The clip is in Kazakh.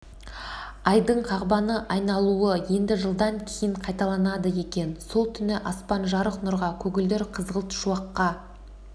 айдың қағбаны айналуы енді жылдан кейін қайталанады екен сол түні аспан жарық нұрға көгілдір қызғылт шуаққа